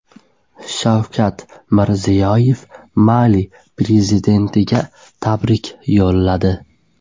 Shavkat Mirziyoyev Mali prezidentiga tabrik yo‘lladi.